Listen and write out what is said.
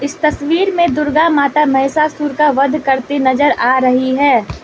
तस्वीर में दुर्गा माता महिषासुर का वध करती नजर आ रही है।